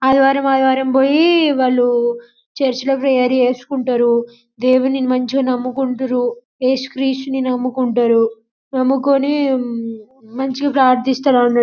ఆదివారం ఆదివారం పోయి వాళ్ళు చర్చి లో ప్రేయర్ చేసుకుంటారు దేవుని మంచిగా నమ్ముకుంటారు ఏసుక్రీస్తుని నమ్ముకుంటారు నమ్ముకొని మంచిగా ప్రార్దిస్తారన్న --